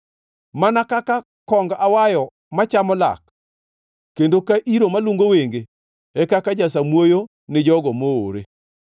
Mana kaka kong awayo machamo lak kendo ka iro malungo wenge, e kaka jasamuoyo ni jogo moore.